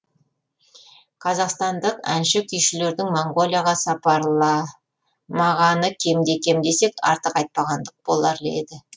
қазақстандық әнші күйшілердің монғолияға сапарламағаны кемде кем десек артық айтпағандық болар еді